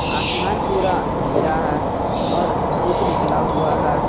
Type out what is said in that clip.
आसमान पूरा नीला है और धूप निकला हुआ है।